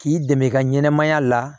K'i dɛmɛ i ka ɲɛnɛmaya la